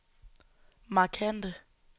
markante